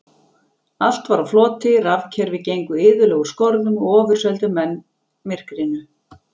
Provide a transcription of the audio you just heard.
Allt var á floti, rafkerfi gengu iðulega úr skorðum og ofurseldu menn myrkrinu.